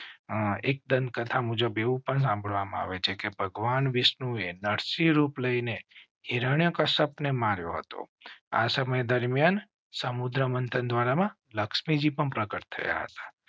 હા, એક દંતકથા મુજબ એવું પણ સાંભળવા માં આવે છે કે ભગવાન વિષ્ણુએ નરસિંહ રૂપ લઈ ને હિરણ્યકશ્યપ ને માર્યો હતો. આ સમય દરમિયાન સમુદ્ર મંથન દ્વારા